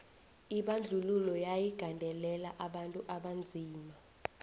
lbandwlulo yayi gondelela abantu abanzima